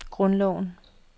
grundloven